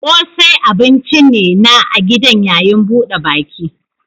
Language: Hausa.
Ƙosai abun ci ne na a gidan yayin buɗe baki.